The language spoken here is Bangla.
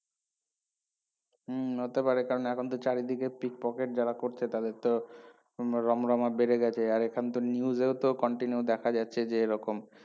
হম হতে পারে কারণ এখন তো চারিদিকে pickpocket যারা করছে তাদের তো উম রমরমা বেড়ে গেছে আর এখন তো news এও তো continue দেখা যাচ্ছে যে এরকম